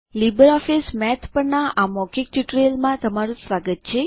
LibreOffice Math પરના આ મૌખિક ટ્યુટોરીયલમાં તમારું સ્વાગત છે